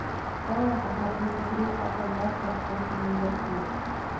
дай нам посмотреть игру апл лестер против ливерпуль